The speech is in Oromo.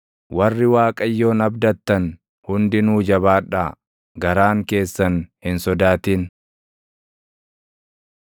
Warri Waaqayyoon abdattan hundinuu jabaadhaa; garaan keessan hin sodaatin.